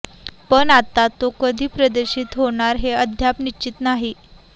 पण आता तो कधी प्रदर्शित होणार हे अद्याप निश्चित नाही